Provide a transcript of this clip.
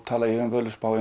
tala ég um Völuspá